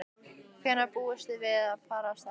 Hvenær búist þið við að fara af stað?